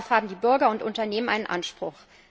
Darauf haben die Bürger und Unternehmen einen Anspruch.